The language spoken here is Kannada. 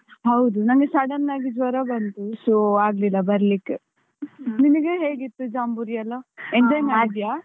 ಹೌದು ನನ್ಗೆ sudden ಆಗಿ ಜ್ವರ ಬಂತು, so ಆಗ್ ಲಿಲ್ಲ ಬರ್ಲಿಕ್ಕೆ. ನಿನ್ಗೆ ಹೇಗಿತ್ತು ಜಾಂಬೂರಿ ಎಲ್ಲ? enjoy ಮಾಡಿದ್ಯಾ?